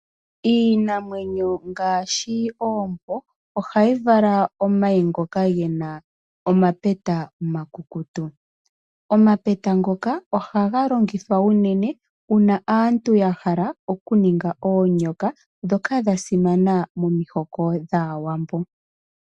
Iinamwenyo ngaashi oompo, ohayi vala omayi ngoka gena omapeta omakukutu. Omapeta ngoka ohaga longithwa unene, una aantu ya hala oku ninga oonyoka, dhoka dha simana momihoko dhAawambo.